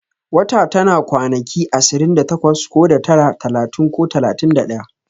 Wata tana kwanaki ashirin da takwas ko da tara, talatin ko talatin da daya